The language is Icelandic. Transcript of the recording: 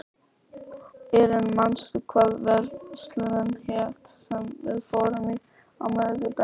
Irene, manstu hvað verslunin hét sem við fórum í á miðvikudaginn?